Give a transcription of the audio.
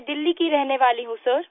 मैं दिल्ली की रहने वाली हूँ सर